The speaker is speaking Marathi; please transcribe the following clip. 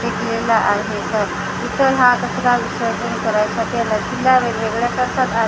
फेकलेला आहे तर इथं हा कचरा विसर्जन करायचा केलाय नदीला वेगवेगळ्या --